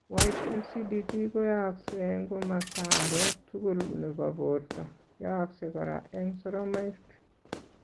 White lcdd koyaaksei eng' komasta age tugul nrbo borto, yooksei kora eng' soromaik